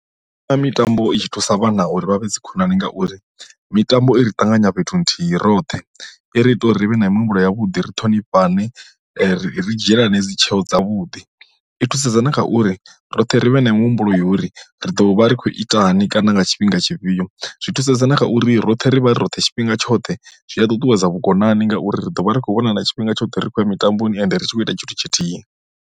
Ane mitambo i tshi thusa vhana uri vha vhe dzikhonani ngauri mitambo i ṱanganya fhethu nthihi roṱhe i ri ita uri ri vhe na mihumbulo ya vhuḓi ri ṱhonifhane ri dzhielani dzi tsheo dzavhuḓi. I thusedza na kha uri roṱhe ri vhe na mihumbulo uri ri ḓo vha ri khou itani kana nga tshifhinga tshifhio, zwi thusedza na kha uri roṱhe ri vha ri roṱhe tshifhinga tshoṱhe zwi a ṱutuwedza vhukonani ngauri ri ḓo vha ri khou vhona na tshifhinga tshoṱhe ri khou ya mitamboni ende ri tshi khou ita tshithu tshithihi.